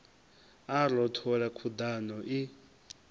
a a rothola khuḓano i